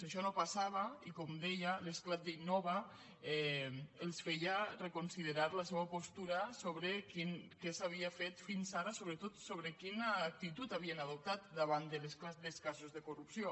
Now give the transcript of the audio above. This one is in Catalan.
això no passava i com deia l’esclat d’innova els feia reconsiderar la seua postura sobre què s’havia fet fins ara sobretot sobre quina actitud havien adoptat davant de l’esclat dels casos de corrupció